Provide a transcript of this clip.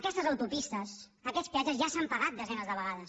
aquestes autopistes aquests peatges ja s’han pagat desenes de vegades